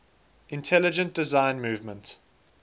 intelligent design movement